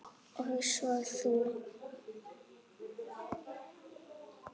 Og svo þú.